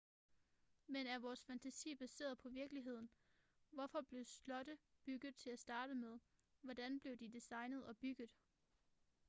men er vores fantasi baseret på virkeligheden hvorfor blev slotte bygget til at starte med hvordan blev de designet og bygget